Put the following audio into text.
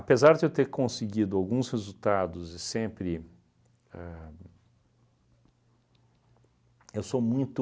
de eu ter conseguido alguns resultados e sempre ahn... Eu sou muito...